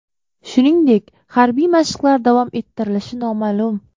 Shuningdek, harbiy mashqlar davom ettirilishi noma’lum.